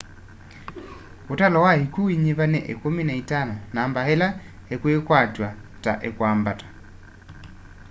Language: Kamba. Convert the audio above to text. ũtalo wa ikyũ uinyiva ni 15 namba ĩla ikwikwatw'a ta ikwambata